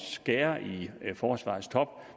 skære i forsvarets top